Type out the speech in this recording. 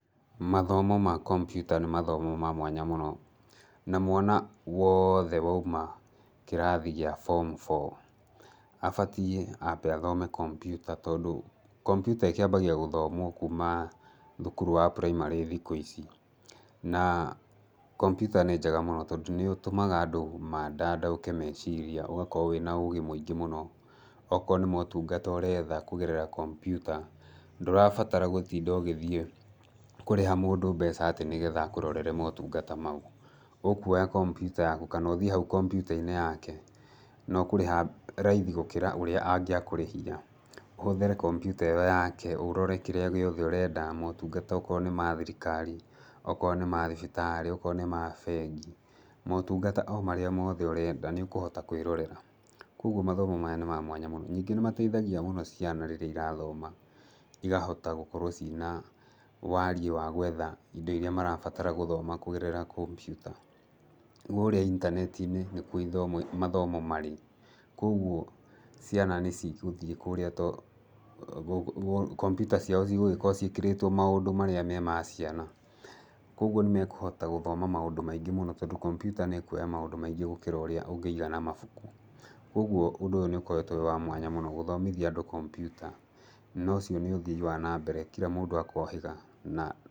Mathomo ma kompiuta nĩ mathomo ma mwanya mũno, na mwana woothe waũma kũrathi gĩa form four abatiĩ ambe athome kompiuta, tondũ kompiuta ĩkĩambagia gũthomwo kũma thũkũrũ wa primary thikũ ici. Na kompiuta nĩ njega mũno tondũ nĩũtũmaga andũ mandandaũke meciria ũgakorwo wĩna ũgĩ mũingĩ mũno. Okorwo nĩ motũngata ũretha kũgerera kompiuta ndũrabatara gũtinda ũgĩthiĩ kũrĩha mũndũ mbeca atĩ nĩgetha akũrorere motũngata maũ. Ũkuoya kompiuta yaku kana ũthiĩ haũ kompiuta-inĩ yake na ũkũrĩha raithi gũkĩra ũrĩa angũakũrĩhia ũhũthĩre kompiuta ĩyo yake, ũrore kĩrĩa gĩothe ũrenda motũngata okorwo nĩma thirikari, okorwo nĩma thibitarĩ, okorwo nĩma bengi motũngata o marĩa mothe ũrenda nĩũkũhota kwĩrorera. Koguo mathomo maya nĩ ma mwanya mũno, ningĩ nĩmateithagia mũno ciana rĩrĩa irathoma igahota gũkorwo ciĩna wariĩ wa gwetha indo irĩa marabatara gũthoma kũgerera kompiuta. Kurĩa intaneti-inĩ nĩkũo ithomo nĩkuo mathomo marĩ. Ũguo ciana nĩcigũthiĩ kũrĩa to kompiuta ciao cigũgĩkorwo ciĩkĩrĩtwo maũndũ marĩa me ma ciana, oguo nĩmekũhota gũthoma maũndũ maingĩ mũno tondũ kompiuta nĩĩkũoya maũndũ maingĩ mũno gũkĩra ũrĩa ũngĩiga na mabũkũ. Ũgũo ũndũ ũyũ nĩũkoretwo wĩ wa mwanya mũno gũthomithia andũ kompiuta na ũcio nĩ ũthii wa nambere kira mũndũ akohĩga na...